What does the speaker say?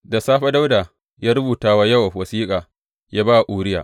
Da safe Dawuda ya rubuta wa Yowab wasiƙa ya ba wa Uriya.